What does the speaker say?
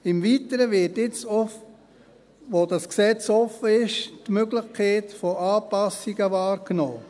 Im Weiteren wird jetzt noch, wo dieses Gesetz offen ist, die Möglichkeit von Anpassungen wahrgenommen.